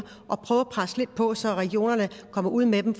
og prøve at presse lidt på så regionerne kommer ud med dem